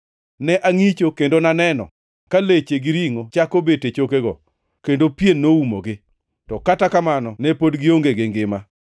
Ne angʼicho kendo naneno ka leche gi ringʼo chako bet e chokego, kendo pien noumogi, to kata kamano ne pod gionge gi ngima.